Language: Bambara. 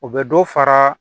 U bɛ dɔ fara